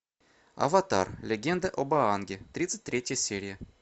аватар легенда об аанге тридцать третья серия